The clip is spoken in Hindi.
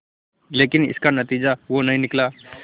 लेकिन इसका नतीजा वो नहीं निकला